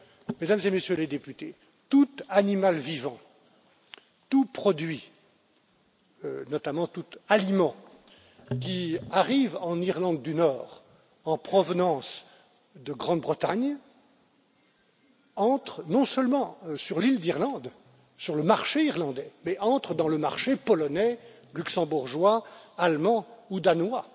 Mesdames et Messieurs les députés, tout animal vivant, tout produit, notamment tout aliment, qui arrive en Irlande du Nord en provenance de Grande Bretagne entre non seulement sur l'île d'Irlande, sur le marché irlandais, mais entre dans le marché polonais, luxembourgeois, allemand ou danois,